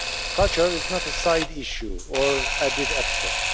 Culture is not a side issue or an added extra.